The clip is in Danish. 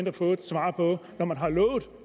at få et svar på når man har lovet